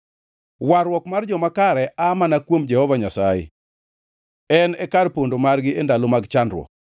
Warruok mar joma kare aa mana kuom Jehova Nyasaye; En e kar pondo margi e ndalo mar chandruok.